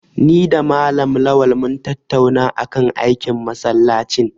Ni da Malam Lawal mun tattauna kan aikin masallacin.